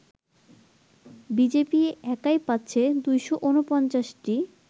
BJP একাই পাচ্ছে ২৪৯টি